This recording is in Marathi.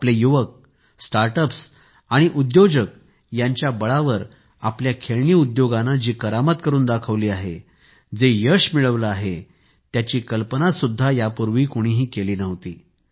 आपले युवक स्टार्टअप्स आणि उद्योजक यांच्या बळावर आपल्या खेळणी उद्योगाने जी करामत करून दाखवली आहे जेयश मिळविले आहे त्याची कल्पना सुद्धा यापूर्वी कोणीकेली नव्हती